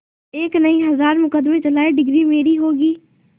एक नहीं हजार मुकदमें चलाएं डिगरी मेरी होगी